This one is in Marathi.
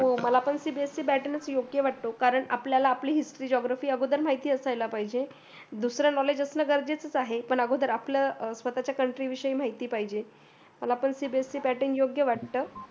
हो मला पण cbse pattern च योग्य वाटतो कारण आपली history geography अगोदर माहिती असायला पाहिजे दूसर knowledge असणं गरजेचच आहे पण अगोदर आपलं स्वतच्या country विषयी माहिती पाहिजे. मला पण cbse pattern योग्य वाटत.